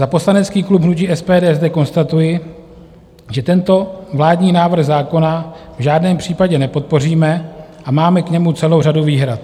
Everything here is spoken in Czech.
Za poslanecký klub hnutí SPD zde konstatuji, že tento vládní návrh zákona v žádném případě nepodpoříme a máme k němu celou řadu výhrad.